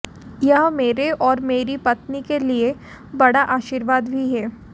यह मेरे और मेरी पत्नी के लिए बड़ा आशीर्वाद भी है